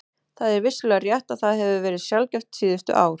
Það er vissulega rétt að það hefur verið sjaldgæft síðustu ár.